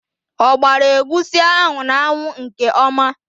O gbara egwusi ahụ n'anwụ nke ọma?